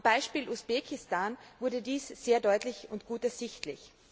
Am Beispiel Usbekistan wurde dies sehr deutlich und gut ersichtlich.